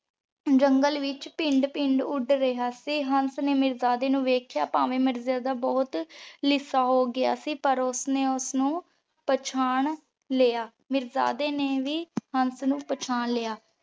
ਜੰਗਲੇ ਵਿਚ ਪਿੰਡ ਪਿੰਡ ਉੜ ਰਿਹਾ ਸੀ ਹੰਸ ਨੇ ਮੀਰਜਾਦੇ ਨੂ ਦੇਖ੍ਯਾ ਤਾਂ ਤਾਂ ਮਿਰਜਾਦਾ ਬੋਹਤ ਲੀਸਾ ਹੋਗਯਾ ਸੀ ਤਾਂ ਓਸਨੇ ਓਸਨੂ ਪੇਹ੍ਚਾਨ ਲਯਾ ਮੀਰਜਾਦੇ ਨੇ ਵੀ ਹੰਸ ਨੂ ਪੇਹ੍ਚਾਨਲਿਯਾ।